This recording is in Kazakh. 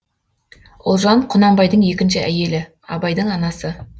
ұлжан құнанбайдың екінші әйелі абайдың анасы